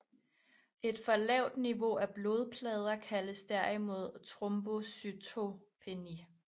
Et for lavt niveau af blodplader kaldes derimod trombocytopeni